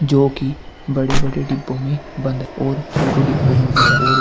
जो कि बड़े बड़े डिब्बो में बंद है और छोटे डिब्बो में भी है और --